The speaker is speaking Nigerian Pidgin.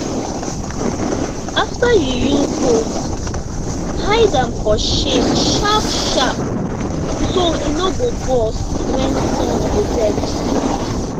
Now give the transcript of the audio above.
after you use hose hide am for shade sharpsharp so e no go burst when sun dey vex